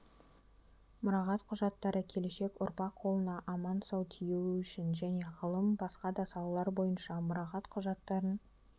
мұрағат құжаттары келешек ұрпақ қолына аман-сау тиюі үшін және ғылым басқа да салалар бойынша мұрағат құжаттарын